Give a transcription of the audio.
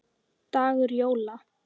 dagur jóla.